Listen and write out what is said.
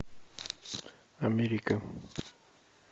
америка